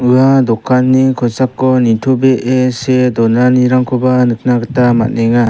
ua dokanni kosako nitobee see donanirangkoba nikna gita man·enga.